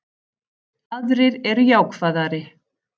Aðrir eru jákvæðari